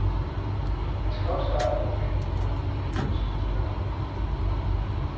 Han skal nok starte på bænken mod weekendens modstandere.